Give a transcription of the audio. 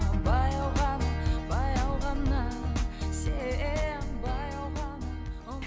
баяу ғана баяу ғана сен баяу ғана